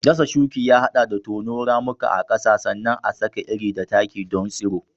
Dasa shuki ya haɗa da tono ramuka a ƙasa sannan a saka iri da taki don tsiro.